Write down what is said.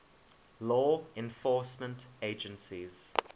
law enforcement agencies